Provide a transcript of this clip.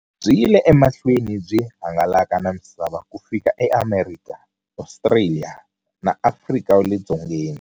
Byi yile emahlweni byi hangalaka na misava ku fika eAmerika, Ostraliya na Afrika wale dzongeni.